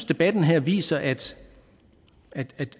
debatten her viser at